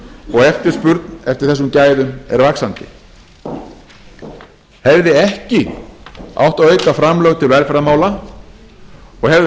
og eftirspurn eftir þessum gæðum er vaxandi hefði ekki átt að auka framlög til velferðarmála og hefði átt